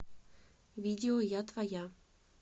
видео я твоя